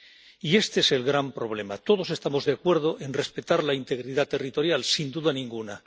Y este es el gran problema todos estamos de acuerdo en respetar la integridad territorial, sin duda ninguna.